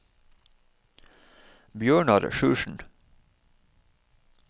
Bjørnar Sjursen